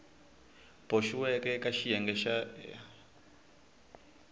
boxiweke eka xiyenge xa a